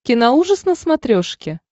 киноужас на смотрешке